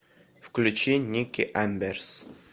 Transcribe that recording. включи никки амберс